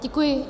Děkuji.